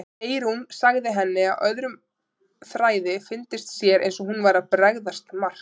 Eyrún sagði henni að öðrum þræði fyndist sér eins og hún væri að bregðast Mark.